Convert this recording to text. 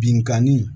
Binkanni